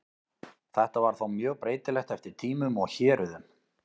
Þetta var þó mjög breytilegt eftir tímum og héruðum.